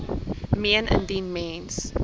meen indien mens